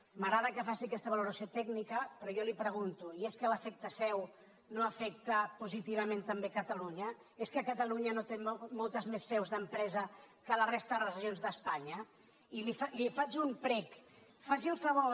m’agrada que faci aquesta valoració tècnica però jo li pregunto i és que l’efecte seu no afecta positivament també catalunya és que catalunya no té moltes més seus d’empresa que la resta de les regions d’espanya i li faig un prec faci el favor